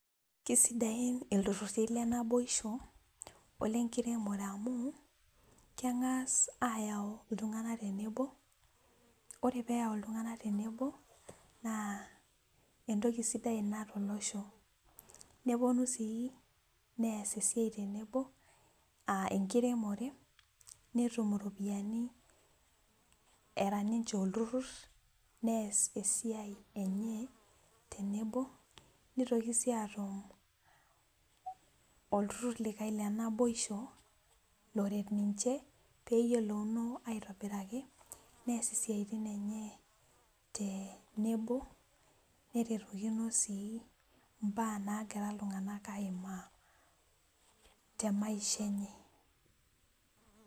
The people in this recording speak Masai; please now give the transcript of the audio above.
Kisaidain iltururi lenaboisho olenkiremore amu kengas ayau iltunganak tenebo ,ore pee eyau iltunganak tenebo naa entoki sidai ina tolosho, neponu sii nees entoki sidai tenebo aa enkiremore netum ninche ropiyiani era olturur nees esiai enye tenebo nitoki sii atum olturur likae lenaboisho loret niche pee eyilouno nees esiai enye tenebo neyiolou sii mbaa nagira iltunganak aimaa temaisha enye.